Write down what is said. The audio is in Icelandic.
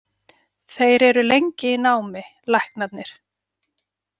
Þeir eru lengi í námi, læknarnir.